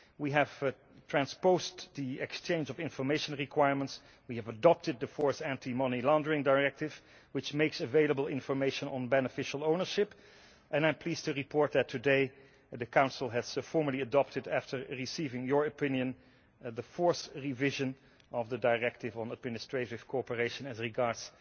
We have transposed the exchange of information requirements, adopted the fourth anti money laundering directive, which makes available information on beneficial ownership, and I am pleased to report today that the Council has formally adopted after receiving your opinion the fourth revision of the directive on administrative cooperation as regards